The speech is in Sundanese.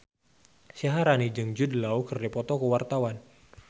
Syaharani jeung Jude Law keur dipoto ku wartawan